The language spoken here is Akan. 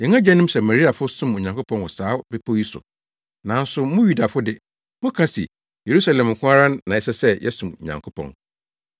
Yɛn agyanom Samariafo som Onyankopɔn wɔ saa bepɔw yi so, nanso mo Yudafo de, moka se Yerusalem nko ara na ɛsɛ sɛ yɛsom Nyankopɔn.”